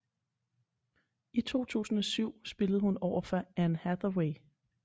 I 2007 spillede hun overfor anne hathaway